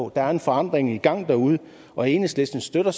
der er en forandring i gang derude og enhedslisten støtter